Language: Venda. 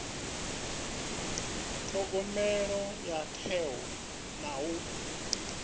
thogomela ho teaho na u